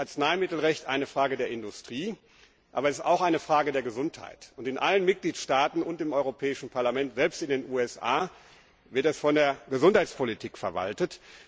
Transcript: Natürlich ist Arzneimittelrecht eine Frage der Industrie, aber es ist auch eine Frage der Gesundheit, und in allen Mitgliedstaaten und im Europäischen Parlament, selbst in den USA, wird dieser Bereich von der Gesundheitspolitik verwaltet.